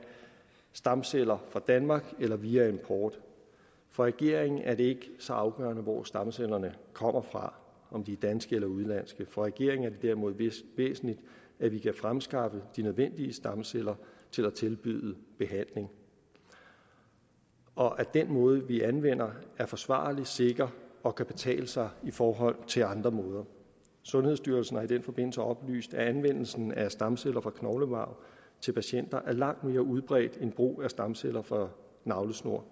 stamceller fra danmark eller via import for regeringen er det ikke så afgørende hvor stamcellerne kommer fra om de er danske eller udenlandske for regeringen er det derimod væsentligt at vi kan fremskaffe de nødvendige stamceller til at tilbyde behandling og at den måde vi anvender er forsvarlig sikker og kan betale sig i forhold til andre måder sundhedsstyrelsen har i den forbindelse oplyst at anvendelsen af stamceller fra knoglemarv til patienter er langt mere udbredt end brug af stamceller fra navlesnore